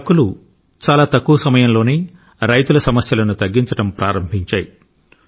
హక్కులు చాలా తక్కువ సమయంలోనే రైతుల సమస్యలను తగ్గించడం ప్రారంభించాయి